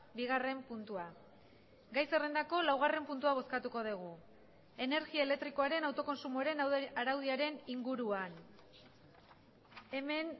bigarren puntua gai zerrendako laugarren puntua bozkatuko dugu energia elektrikoaren autokontsumoaren araudiaren inguruan hemen